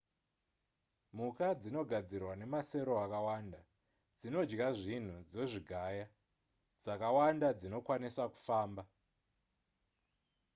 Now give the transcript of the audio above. mhuka dzinogadzirwa nemasero akawanda dzinodya zvinhu dzozvigaya dzakawanda dzinokwanisa kufamba